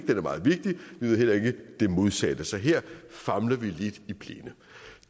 den er meget vigtig vi ved heller ikke det modsatte så her famler vi lidt i blinde